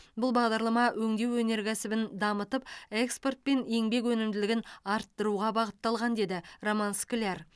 бұл бағдарлама өңдеу өнеркәсібін дамытып экспорт пен еңбек өнімділігін арттыруға бағытталған деді роман скляр